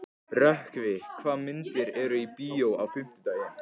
Rökkvi, hvaða myndir eru í bíó á fimmtudaginn?